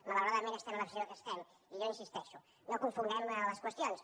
malauradament estem en la situació que estem i jo hi insisteixo no confonguem les qüestions